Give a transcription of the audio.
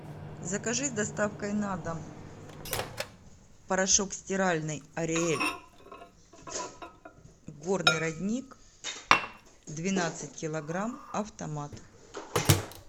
закажи с доставкой на дом порошок стиральный ариэль горный родник двенадцать килограмм автомат